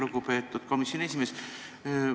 Lugupeetud komisjoni esimees!